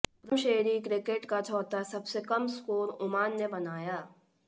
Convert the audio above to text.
प्रथम श्रेणी क्रिकेट का चौथा सबसे कम स्कोर ओमान ने बनाया